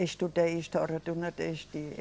Estudei História do Nordeste.